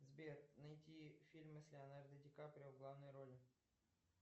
сбер найти фильмы с леонардо ди каприо в главной роли